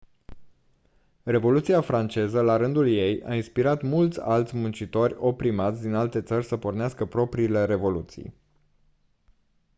revoluția franceză la rândul ei a inspirat mulți alți muncitori oprimați din alte țări să pornească propriile revoluții